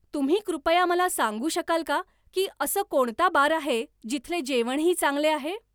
तुम्ही कृपया मला सांगू शकाल का की असं कोणता बार आहे जिथले जेवणही चांगले आहे